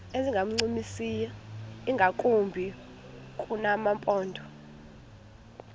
ezingancumisiyo ingakumbi kumaphondo